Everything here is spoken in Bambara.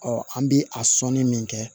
an bi a sɔnni min kɛ